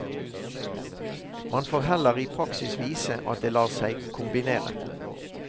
Man får heller i praksis vise at det lar seg kombinere.